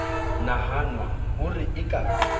nahanwa ho re e ka